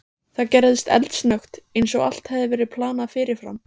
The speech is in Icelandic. Það gerðist eldsnöggt, eins og allt hefði verið planað fyrirfram.